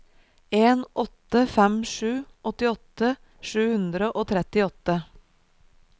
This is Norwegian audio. en åtte fem sju åttiåtte sju hundre og trettiåtte